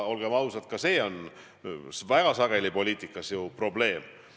Olgem ausad, see on väga sageli poliitikas probleem.